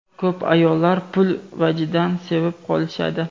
Ko‘p ayollar pul vajidan sevib qolishadi.